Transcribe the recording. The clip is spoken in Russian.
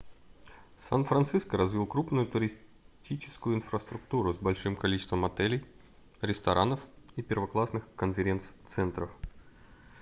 сан-франциско развил крупную туристическую инфраструктуру с большим количеством отелей ресторанов и первоклассных конференц-центров